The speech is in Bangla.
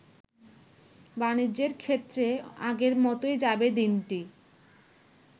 বাণিজ্যের ক্ষেত্রে আগের মতই যাবে দিনটি।